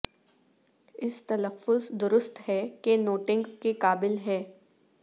اس تلفظ درست ہے کہ نوٹنگ کے قابل ہے